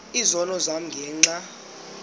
izono zam ngenxa